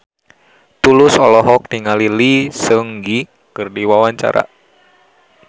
Tulus olohok ningali Lee Seung Gi keur diwawancara